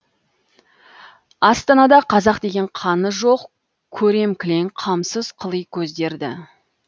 астанада қазақ деген қаны жоқ көрем кілең қамсыз қыли көздерді